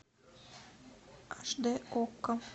аш дэ окко